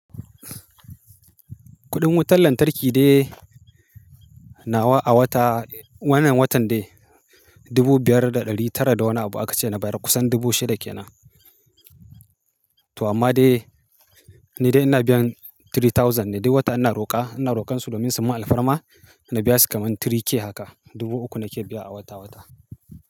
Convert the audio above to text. Kuɗin wutar lantarki dai nawa a wata wannan watan dai dubu biyar da ɗari tara da wani abu aka ce na bayar kusan dubu shida ke na. To amma dai ni dai ina biyan three thousand ne duk wata ina roƙa, ina roƙan su domin su min alfarma na biya su kamar three k haka. Dubu uku nake biya a wata wata.